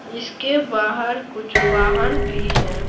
इसके बाहर कुछ वाहन भी है।